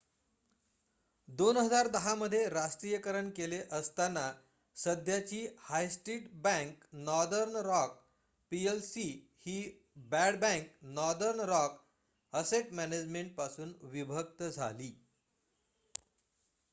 2010 मध्ये राष्ट्रीयकरण केले असताना सध्याची high street bank Northern Rock PLC ही ‘bad bank’ Northern Rock asset management पासून विभक्त झाली